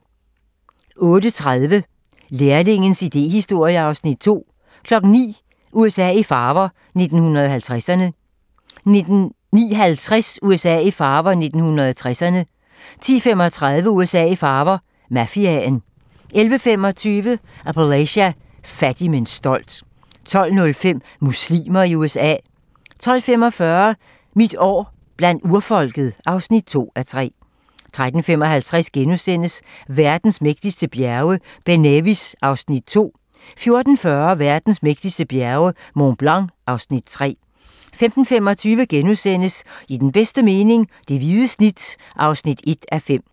08:30: Læringens idéhistorie (Afs. 2) 09:00: USA i farver - 1950'erne 09:50: USA i farver - 1960'erne 10:35: USA i farver - Mafiaen 11:25: Appalachia - fattig, men stolt 12:05: Muslimer i USA 12:45: Mit år blandt urfolket (2:3) 13:55: Verdens mægtigste bjerge: Ben Nevis (Afs. 2)* 14:40: Verdens mægtigste bjerge: Mont Blanc (Afs. 3) 15:25: I den bedste mening - det hvide snit (1:5)*